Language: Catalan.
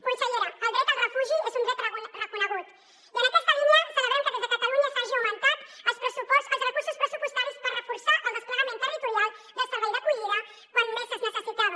consellera el dret al refugi és un dret reconegut i en aquesta línia celebrem que des de catalunya s’hagin augmentat els recursos pressupostaris per reforçar el desplegament territorial del servei d’acollida quan més es necessitava